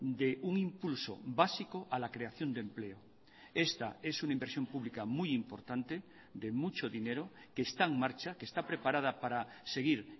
de un impulso básico a la creación de empleo esta es una inversión pública muy importante de mucho dinero que está en marcha que está preparada para seguir